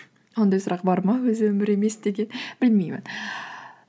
ондай сұрақ бар ма өзі өмір емес деген білмеймін